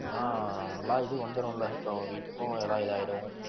ஆனா எல்லா இது வந்துரும்ல இப்ப வீட்டுக்கும் எல்லா இதாயிடும்